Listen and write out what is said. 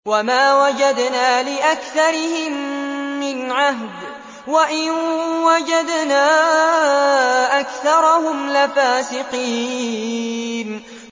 وَمَا وَجَدْنَا لِأَكْثَرِهِم مِّنْ عَهْدٍ ۖ وَإِن وَجَدْنَا أَكْثَرَهُمْ لَفَاسِقِينَ